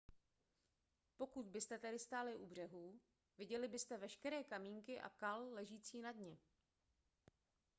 pokud byste tedy stáli u břehu viděli byste veškeré kamínky a kal ležící na dně